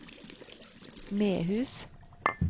Mehus